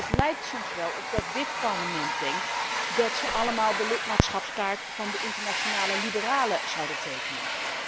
Het lijkt soms wel alsof dit Parlement denkt dat ze allemaal de lidmaatschapskaart van de Internationale Liberale zouden tekenen.